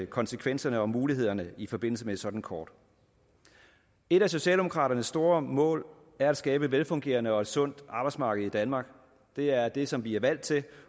konsekvenserne og mulighederne i forbindelse med et sådant kort et af socialdemokraternes store mål er at skabe et velfungerende og sundt arbejdsmarked i danmark det er det som vi er valgt til